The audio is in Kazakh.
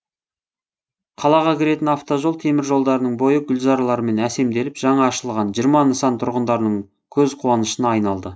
қалаға кіретін автожол темір жолдарының бойы гүлзарлармен әсемделіп жаңа ашылған жиырма нысан тұрғындарының көзқуанышына айналды